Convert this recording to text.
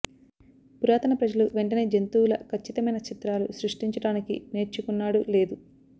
పురాతన ప్రజలు వెంటనే జంతువుల ఖచ్చితమైన చిత్రాలు సృష్టించడానికి నేర్చుకున్నాడు లేదు